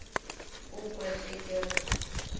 o kwe ge ke re